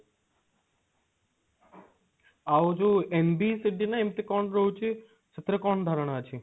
ଆଉ ଯେଉଁ NBCB ନା ଏମତି କଣ ରହୁଛି ସେଥିରେ କଣ ଧାରଣା ଅଛି?